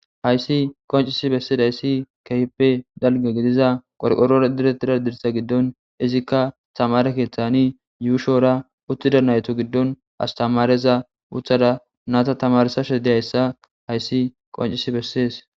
Hayisi qoncisi besizayisi kehippe daliga gidiza qoriqorora diretiza dirsa izika tamare keeththani yushora utida natu gidon asitemareza utada nata tamarisashe deiyayisa hayisi qoncisi beses.